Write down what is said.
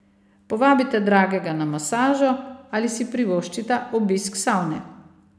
Povabite dragega na masažo ali si privoščita obisk savne.